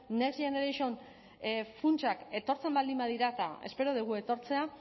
next generation funtsak etortzen baldin badira eta espero dugu etortzea